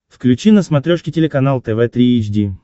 включи на смотрешке телеканал тв три эйч ди